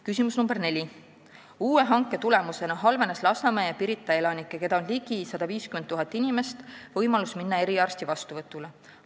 Küsimus nr 4: "Uue hanke tulemusena halvenesid Lasnamäe ja Pirita elanike, keda on ligi 150 000 inimest, võimalused minna eriarsti vastuvõtule.